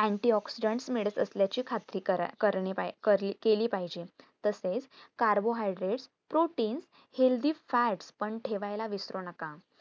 antioxidant medit असल्याची खात्री करणी कारली केली पाहिजे तसेच carbohydrate, protein, healthyfat पण ठेवायला विसरू नका